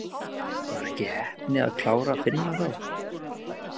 Var ekki heppni að klára Finna þá?